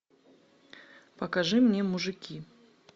покажи мне мужики